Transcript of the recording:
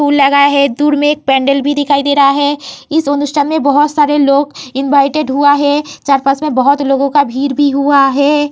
फूल लगा है। दूर में एक पंडाल भी दिखाई दे रहा है। इस अनुष्ठान में बहोत सारे लोग इन्वाइटेड हुवा है। चार पांच में बहोत लोगों का भीड़ हुवा है।